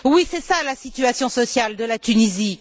Oui, telle est la situation sociale de la Tunisie.